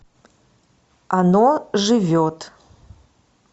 оно живет